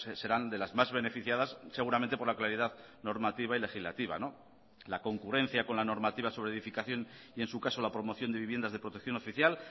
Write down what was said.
serán de las más beneficiadas seguramente por la claridad normativa y legislativa la concurrencia con la normativa sobre edificación y en su caso la promoción de viviendas de protección oficial